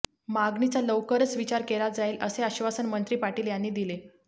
मागणीचा लवकरच विचार केला जाईल असे आश्वासन मंत्री पाटील यांनी दिले